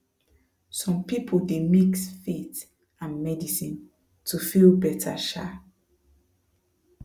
some people dey mix faith and medicine to feel better um